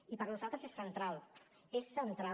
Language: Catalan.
i per nosaltres és central és central